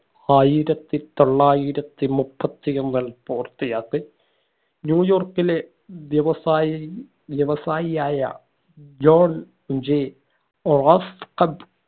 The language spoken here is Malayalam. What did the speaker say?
ആയിരത്തി തൊള്ളായിരത്തി മുപ്പത്തിയൊൻ ന്യൂയോർക്കിലെ വ്യവസായി വ്യവസായിയായ ജോൺ j റോസ്‌റ്റ്ഹബ്